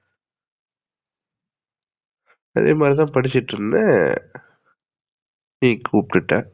அதேமாதிரி தான் படிச்சுட்டு இருந்தேன் நீ கூப்டுட்ட